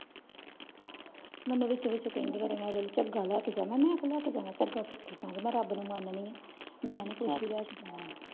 ਮੇਨੂ ਵਿੱਚੋ ਵਿੱਚੋ ਕਹਿੰਦੀ ਚੰਗਾ ਲਾਇ ਕ ਜਾਣਾ ਮੈਂ ਕਯੋ ਲਾਇ ਕ ਜਾਵਾਂ ਚੱਗਾ ਸੁਖੀ ਸੈਂਡੀ ਮੈਂ ਰੱਬ ਨੂੰ ਮੰਡੀ ਆ ਮੈਂ ਨੀ ਕੋਈ .